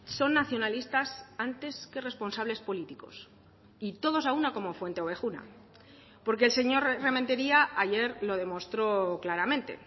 son nacionalistas antes que responsables políticos y todos a una como fuenteovejuna porque el señor rementeria ayer lo demostró claramente